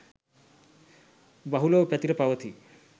බහුලව පැතිර පවතී